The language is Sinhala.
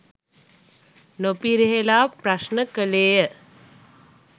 නො පිරිහෙලා ප්‍රශ්න කළේ ය